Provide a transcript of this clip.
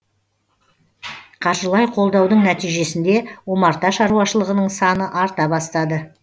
қаржылай қолдаудың нәтижесінде омарта шаруашылығының саны арта бастады